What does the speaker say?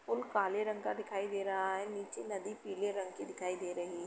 Pool काले रंग का दिखाई दे रहा है। नीचे नदी पीले रंग की दिखाई दे रही --